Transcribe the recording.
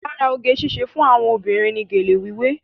Lára oge síṣe fún àwọn obìnrin ní gélé wíwé.